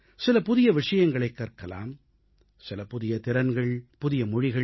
சில புதிய விஷயங்களைக் கற்கலாம் சில புதிய திறன்கள் புதிய மொழிகள்